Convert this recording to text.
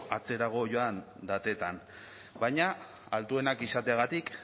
atzerago joan datetan baina altuenak izateagatik